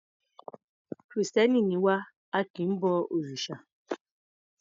Kìrìstẹ́ni ni wá, a kì í bo òrìsà.